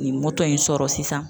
Nin mɔtɔ in sɔrɔ sisan.